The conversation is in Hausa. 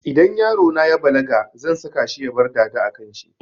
Idan yarona ya balaga zan saka shi ya bar dada a kanshi